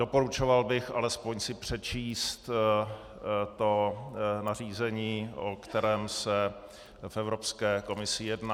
Doporučoval bych alespoň si přečíst to nařízení, o kterém se v Evropské komisi jedná.